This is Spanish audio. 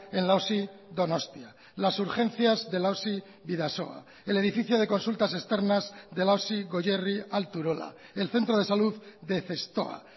en la osi donostia las urgencias de la osi bidasoa el edificio de consultas externas de la osi goierri alto urola el centro de salud de zestoa